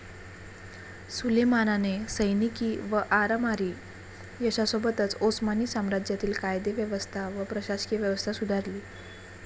सुलेमानाने सैनिकी व आरमारी यशासोबतच ओस्मानी साम्राज्यातील कायदेव्यवस्था व प्रशासकीय व्यवस्था सुधारली.